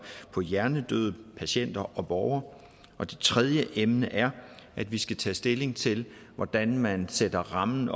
på hjernedøde patienter og borgere det tredje emne er at vi skal tage stilling til hvordan man sætter rammen